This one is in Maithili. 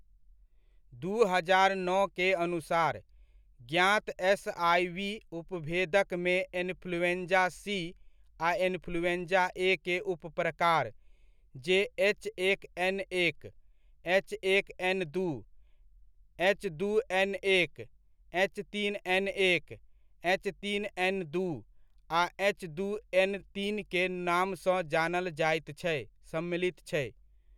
दू हजार नओ के अनुसार, ज्ञात एसआइवी उपभेदकमे इन्फ्लूएंजा सी आ इन्फ्लूएंजा ए के उपप्रकार जे एच एक एन एक, एच एक एन दू, एच दू एन एक, एच तीन एन एक, एच तीन एन दू ,आ एच दू एन तीन के नामसँ जानल जायत छै, सम्मिलित छै।